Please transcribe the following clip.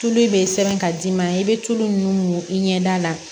Tulu bɛ sɛbɛn ka d'i ma i bɛ tulu min i ɲɛda la